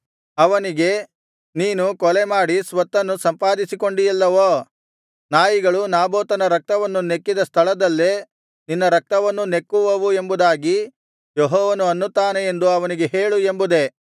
ಅವನಿಗೆ ನೀನು ಕೊಲೆ ಮಾಡಿ ಸ್ವತ್ತನ್ನು ಸಂಪಾದಿಸಿಕೊಂಡಿಯಲ್ಲವೋ ನಾಯಿಗಳು ನಾಬೋತನ ರಕ್ತವನ್ನು ನೆಕ್ಕಿದ ಸ್ಥಳದಲ್ಲೇ ನಿನ್ನ ರಕ್ತವನ್ನೂ ನೆಕ್ಕುವವು ಎಂಬುದಾಗಿ ಯೆಹೋವನು ಅನ್ನುತ್ತಾನೆ ಎಂದು ಅವನಿಗೆ ಹೇಳು ಎಂಬುದೇ